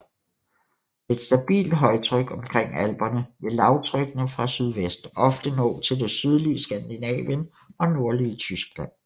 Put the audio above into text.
Med et stabilt højtryk omkring alperne vil lavtrykkene fra sydvest ofte nå til det sydlige Skandinavien og nordlige Tyskland